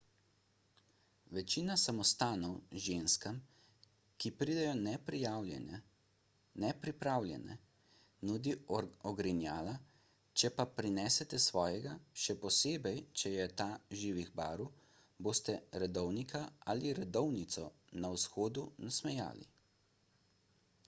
večina samostanov ženskam ki pridejo nepripravljene nudi ogrinjala če pa prinesete svojega še posebej če je ta živih barv boste redovnika ali redovnico na vhodu nasmejali